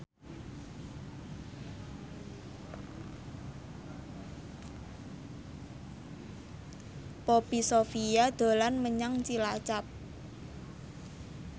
Poppy Sovia dolan menyang Cilacap